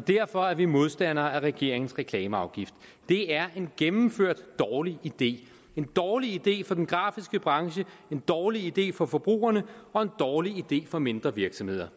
derfor er vi modstandere af regeringens reklameafgift det er en gennemført dårlig idé det en dårlig idé for den grafiske branche en dårlig idé for forbrugerne og en dårlig idé for mindre virksomheder